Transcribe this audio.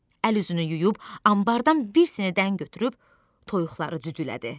Əl-üzünü yuyub anbardan bir səni dən götürüb toyuqları düdülədi.